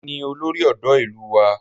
Èmi ni olórí ọ̀dọ́ ìlú wa